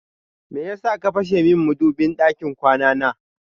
Meyasa ka fashe min madubin ɗakin kwana na?